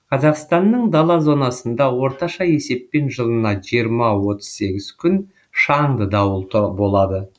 қазақстанның дала зонасында орташа есеппен жылына жиырма отыз сегіз күн шаңды дауыл болады